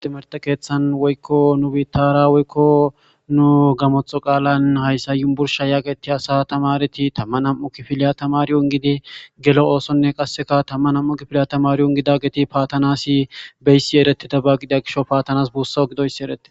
Timerte keeththan woykko nu biittara woykko nu gamotho qaalan hayssa yumbursh hayaqeti asa tamareti tamma nam'u kifiliya tamaryun gidi gelo oosonne qasseka tamma nam'u kifiliya tamariun gida geti paatanasi beyssi eretida bagida gisho paatanas buussa gidoyssi ereti.